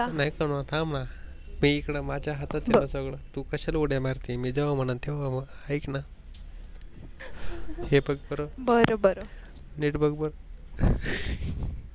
नाही करून थांबणा मी इकड माझ्या हातात आहे सगळ तू कशाला उड्या मारती मी जेव्हा म्हणन तेव्हा ऐकणा हे बघ बर नीट बघ बर